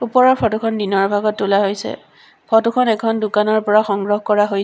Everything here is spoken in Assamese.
ওপৰৰ ফটো খন দিনৰ ভাগত তোলা হৈছে ফটো খন এখন দোকানৰ পৰা সংগ্ৰহ কৰা হৈ--